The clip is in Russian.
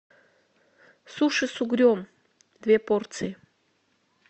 суши с угрем две порции